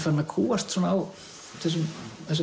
farinn að kúgast á þessum